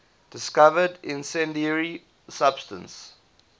discovered incendiary substance